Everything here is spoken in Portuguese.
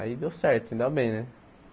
Aí deu certo, ainda bem, né?